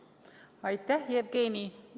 Aitäh, Jevgeni!